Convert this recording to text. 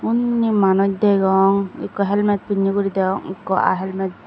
unni manus degong ekko helmet pinney guri deyong ekko aa helmet.